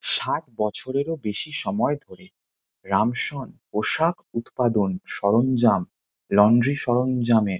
ষাট বছরেরও বেশি সময় ধরে রামসন পোশাক উৎপাদন সরঞ্জাম লন্ড্রি সরঞ্জামের--